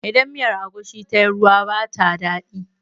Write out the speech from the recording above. Idan miyar agushi tayi ruwa ba ta daɗi